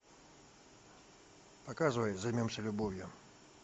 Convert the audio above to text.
показывай займемся любовью